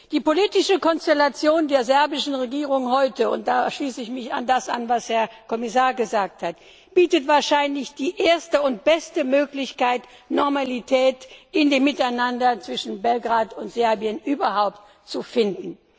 Die politische Konstellation der serbischen Regierung heute und da schließe ich mich an das an, was der Herr Kommissar gesagt hat bietet wahrscheinlich die erste und beste Möglichkeit, Normalität in dem Miteinander zwischen Kosovo und Serbien zu finden.